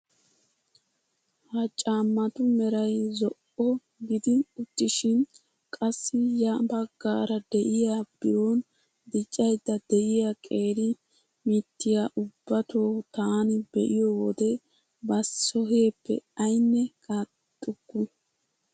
Ha caammatu meray zo'o gidi uttishin qassi ya baggaara de'iyaa biron diccayda de'iyaa qeeri mittiyaa ubbatoo taani be'iyoo wode ba soheeppe aynne qaaxukku!